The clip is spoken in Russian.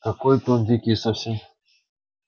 какой-то он дикий совсем